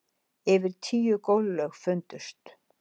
Yfir tíu gólflög fundust